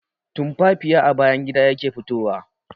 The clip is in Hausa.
Tumfafiya a bayan gida yake fitowa.